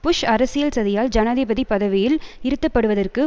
push அரசியல் சதியால் ஜனாதிபதி பதவியில் இருத்தப்படுவதற்கு